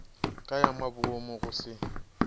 ka ya maboomo go se